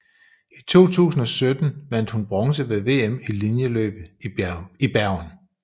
I 2017 vandt hun bronze ved VM i linjeløb i Bergen